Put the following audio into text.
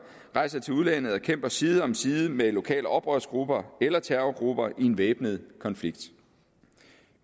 rejser til udlandet og kæmper side om side med lokale oprørsgrupper eller terrorgrupper i en væbnet konflikt